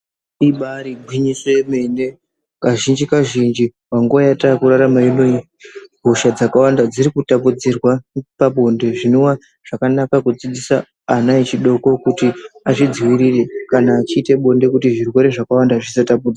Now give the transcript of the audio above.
Ibaari gwinyiso yemene, kazhinji-kazvinji panguwa yataakurarama inoyi, hosha dzakawanda dziri kutapudzirwa pabonde, zvinova zvakanaka kudzidzisa ana echidoko kuti azvidziirire, kana achiita bonde, kuti zvirwere zvakawanda zvisatapudzwa.